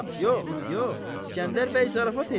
Yox, yox, İsgəndər bəy zarafat eləyir.